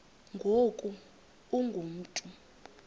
ngoku ungu mntu